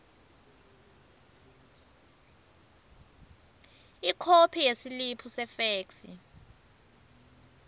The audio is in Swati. ikhophi yesiliphu sefeksi